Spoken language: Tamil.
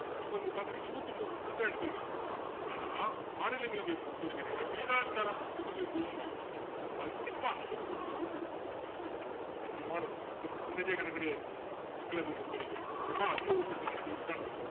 அப்போ இங்க பாத்திங்கன்னா இருபத்தி ஒன்பது seat தான் எடுத்திருக்கான் ஆனா மாநிலங்களவையை பொறுத்த வரைக்கும் என்னன்னா விகிதாச்சாரம் பிரதிநிதித்துவம்பாங்க கண்டிப்பா ஐம்பது percent vote எடுக்கணும் முக்கியமானது அங்க percentage ஏ கணக்கு கிடையாது மக்களவையை பொறுத்த வரைக்கும் எவன் அதிக vote எடுத்திருக்கானோ ஜெயிசச்சிட்டான்னு அர்த்தம்